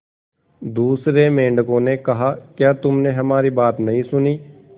दूसरे मेंढकों ने कहा क्या तुमने हमारी बात नहीं सुनी